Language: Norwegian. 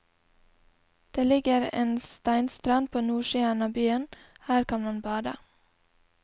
Det ligger en steinstrand på nordsiden av byen, her kan man bade.